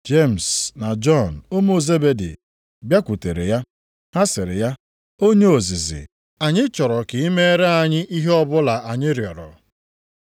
Jemis na Jọn ụmụ Zebedi bịakwutere ya. Ha sịrị ya, “Onye ozizi, anyị chọrọ ka i meere anyị ihe ọbụla anyị rịọrọ.”